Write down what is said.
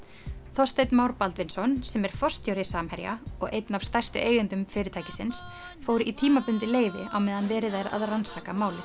Þorsteinn Már Baldvinsson sem er forstjóri Samherja og einn af stærstu eigendum fyrirtækisins fór í tímabundið leyfi á meðan verið er að rannsaka málið